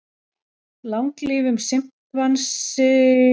Langlífur simpansi reykti daglega